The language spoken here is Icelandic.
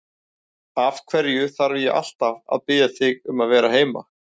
Af hverju þarf ég alltaf að biðja þig um að vera heima?